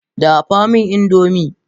Dafa min indomie!